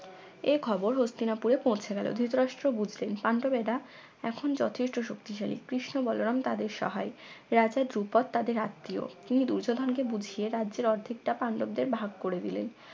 এখবর হস্তিনাপুরে পৌঁছে গেলো ধৃতরাষ্ট্র বুঝলেন পান্ডবেরা এখন যথেষ্ট শক্তিশালী কৃষ্ণ বলরাম তাদের সহায় রাজা ধ্রুপদ তাদের আত্মীয় তিনি দুর্যোধন কে বুঝিয়ে রাজ্যের অর্ধেকটা পান্ডবদের ভাগ করে দিলেন